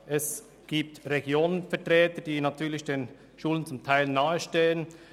Es gibt regionale Vertreter, die den Schulen teilweise nahestehen.